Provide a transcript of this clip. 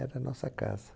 Era a nossa casa.